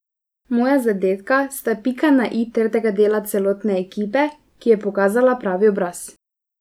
Moja zadetka sta pika na i trdega dela celotne ekipe, ki je pokazala pravi obraz.